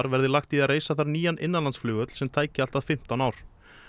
verði lagt í að reisa þar nýjan innanlandsflugvöll sem tæki allt að fimmtán ár